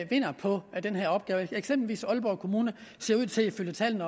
vinder på den her opgave eksempelvis ser aalborg kommune ifølge tallene